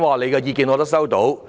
"他的意見我已收到。